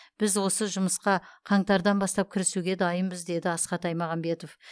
біз осы жұмысқа қаңтардан бастап кірісуге дайынбыз деді асхат аймағамбетов